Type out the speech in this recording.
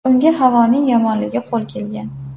Unga havoning yomonligi qo‘l kelgan.